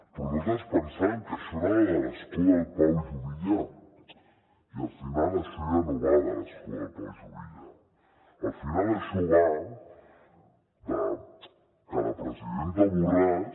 però nosaltres pensàvem que això anava de l’escó del pau juvillà i al final això ja no va de l’escó del pau juvillà al final això va de que la presidenta borràs